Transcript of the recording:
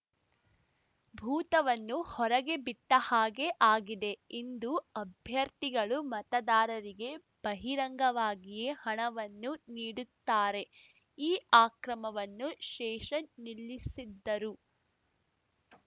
ಭೂತವನ್ನು ಹೊರಗೆ ಬಿಟ್ಟಹಾಗೆ ಆಗಿದೆ ಇಂದು ಅಭ್ಯರ್ಥಿಗಳು ಮತದಾರರಿಗೆ ಬಹಿರಂಗವಾಗಿಯೇ ಹಣವನ್ನು ನೀಡುತ್ತಾರೆ ಈ ಅಕ್ರಮವನ್ನು ಶೇಷನ್‌ ನಿಲ್ಲಿಸಿದ್ದರು